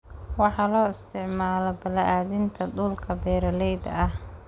Waxa loo isticmaalaa balaadhinta dhulka beeralayda ah.